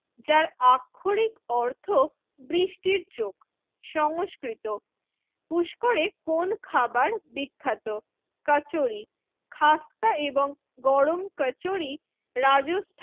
যার আক্ষরিক অর্থ বৃষ্টির চোখ সংস্কৃত পুস্করে কোন খাবার বিখ্যাত? কচুরি খাস্তা এবং গরম কচুরি রাজু